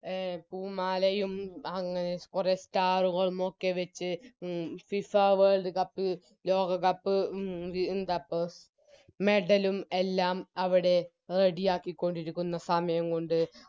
അഹ് പൂമാലയും അങ് കുറച്ചാളുകളും ഒക്കെ വെച്ച് ഉം FIFA World cup ലോകകപ്പ് ഉം ന്താപ്പോ Medal ഉം എല്ലാം അവിടെ Ready ആക്കിക്കൊണ്ടിരിക്കുന്ന സമയം കൊണ്ട്